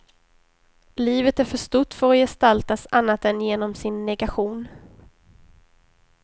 Livet är för stort för att gestaltas annat än genom sin negation.